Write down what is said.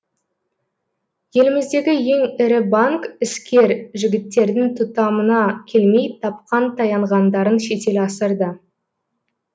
еліміздегі ең ірі банк іскер жігіттердің тұтамына келмей тапқан таянғандарын шетел асырды